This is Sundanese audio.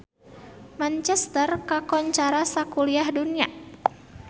Manchester kakoncara sakuliah dunya